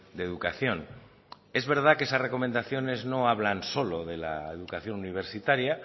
de educación es verdad que esas recomendaciones no hablan solo de la educación universitaria